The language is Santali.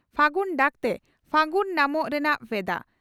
ᱯᱷᱟᱹᱜᱩᱱ ᱰᱟᱠᱛᱮ ᱯᱷᱟᱹᱜᱩᱱ ᱧᱟᱢᱚᱜ ᱨᱮᱱᱟᱜ ᱵᱷᱮᱫᱟ